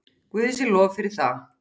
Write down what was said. Guði sé lof fyrir það.